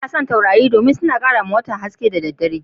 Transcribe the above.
Na damu da taurari dan suna karamce watan'da dare.